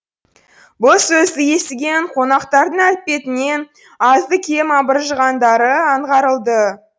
бұл сөзді естіген қонақтардың әлпетінен азды кем абыржығандары аңғарылды